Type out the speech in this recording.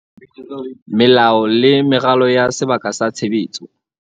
Melao le meralo ya sebaka sa tshebetso